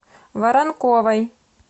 воронковой